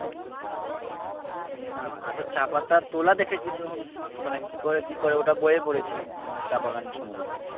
না দেখো চা পাতা তোলা দেখিছি তখন মানে কি করে কি করে ওটা বইয়ে পড়েছি যখন বাগান সমন্ধে